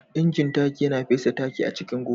inji taki Yana fesa taki a cikin gona.